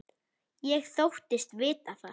Ég þóttist vita það.